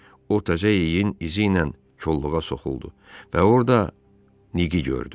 O təzə yeyin izi ilə kolluğa soxuldu və orda Niki gördü.